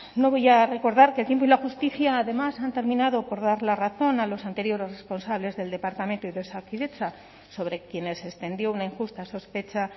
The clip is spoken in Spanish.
no voy a recordar que el tiempo y la justicia además han terminado por dar la razón a los anteriores responsables del departamento y de osakidetza sobre quienes se extendió una injusta sospecha